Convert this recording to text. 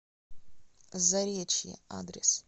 заречье адрес